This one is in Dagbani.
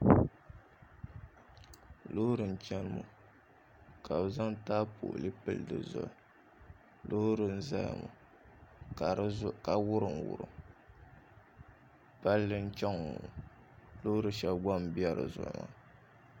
Loori n chɛna ka bi zaŋ taapoli pili dizuɣu loori n ʒɛya ka wurim wurim palli n chɛŋ ŋɔ loori shab gba n bɛ dizuɣu ŋɔ